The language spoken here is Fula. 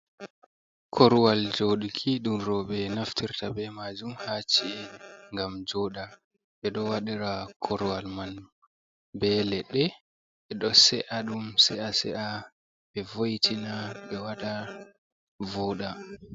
Korwal joɗuki ɗun roɓe naftirta ɓe majum ha ci'e ngam joɗa ɓeɗo waɗira korwal man be leɗɗe ɓe ɗo se’a ɗum se’a-se’a ɓe vo etina ɓe wata voɗa